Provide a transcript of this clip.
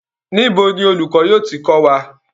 Níbi ni olùkọ́ yóò ti kò wa?